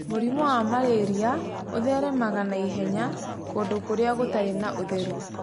Mũrimũ wa malaria ũtheremaga na ihenya kũndũ kũrĩa gũtarĩ na ũtheru.